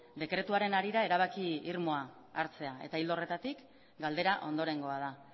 dekretuaren harira erabaki irmoa hartzea eta ildo horretatik galdera ondorengoa da